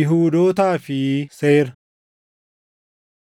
Yihuudootaa fi Seera